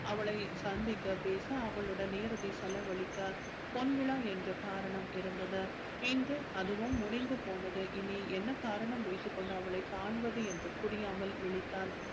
அவளை சந்திக்க பேச அவளுடன் நேரத்தை செலவழிக்க பொன்விழா என்ற காரணம் இருந்தது இன்று அதுவும் முடிந்து போனது இனி என்ன காரணம் வைத்துக் கொண்டு அவளை காண்பது என்று புரியாமல் விழித்தான்